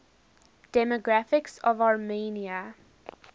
demographics of armenia